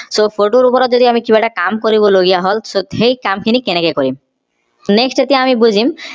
sophoto ৰ ওপৰত যদি আমি কিবা এটা কাম কৰিব লগিয়া হল so সেই কামখিনি কেনেকে কৰিম next আমি এতিয়া বুজিম